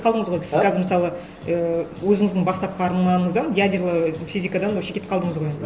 қалдыңыз ғой қазір мысалы ііі өзіңіздің бастапқы арнаңыздан ядерлы физикадан вообще кетіп қалдыңыз ғой енді